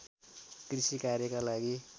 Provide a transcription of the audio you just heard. कृषि कार्यका लागि